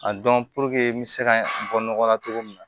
A dɔn n bɛ se ka bɔ nɔgɔ la cogo min na